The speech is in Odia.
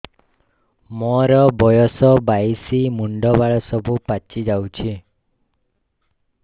ମୋର ବୟସ ବାଇଶି ମୁଣ୍ଡ ବାଳ ସବୁ ପାଛି ଯାଉଛି